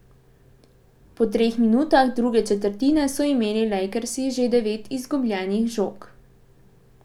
Po treh minutah druge četrtine so imeli Lakersi že devet izgubljenih žog.